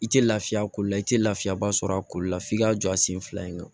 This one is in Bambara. I tɛ lafiya kolo la i tɛ lafiyaba sɔrɔ a ko la f'i k'a jɔ a sen fila in kan